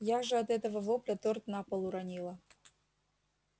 я же от этого вопля торт на пол уронила